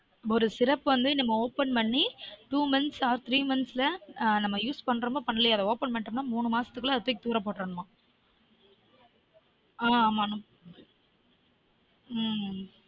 ஒரு syrup வந்து நம்ம open பண்ணி two months or three months ல நம்ம use பண்ணுறமொ பண்ணலியொ அத open பண்ணிட்டனா மூனு மாசத்துக்குள்ள அத தூக்கி தூர பொட்டுறனுமா